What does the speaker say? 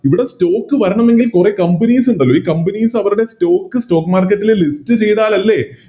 ഇവിടെ Stock വരണമെങ്കിൽ കൊറേ Companies ഇണ്ട് ഈ Companies അവരുടെ Stock stock market ല് List ചെയ്താലല്ലേ